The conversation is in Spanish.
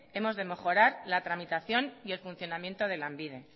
hemos mejorar la tramitación y el funcionamiento de lanbide